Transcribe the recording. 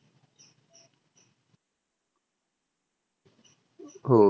हो.